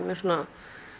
svona